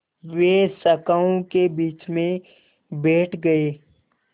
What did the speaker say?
वे शाखाओं के बीच में बैठ गए